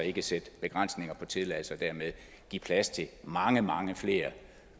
ikke at sætte begrænsninger for tilladelser og dermed give plads til mange mange flere